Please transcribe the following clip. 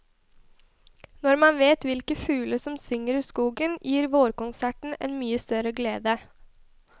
Når man vet hvilke fugler som synger i skogen, gir vårkonserten en mye større glede.